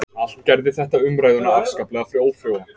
Allt gerði þetta umræðuna afskaplega ófrjóa